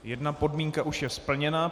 Jedna podmínka už je splněna.